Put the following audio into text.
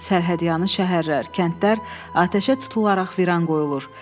Sərhədyanı şəhərlər, kəndlər atəşə tutularaq viran qoyulur.